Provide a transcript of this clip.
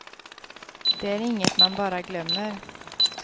Det är inget man bara glömmer.